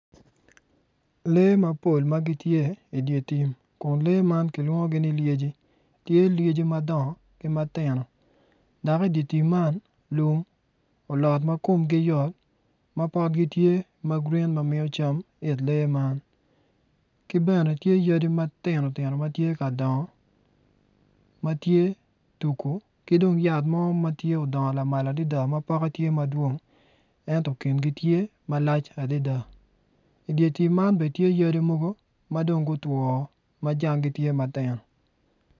Lee mapol magitye idye tim kun lee man ki lwongi ni lyeci tye lyeci madongo ki ma tino dok idye tim man lum olot ma komgi yot ma potgi tye ma gurin ma miyo cam it lee man ki bene tye yadi matino tino matye ka dongo matye tuku ki dong yat mo matye odongo lamal adada ma poke tye madwong ento kingi tye malac adada idye tim man bene tye yadi mogo madong gutwo ma jangi tye matino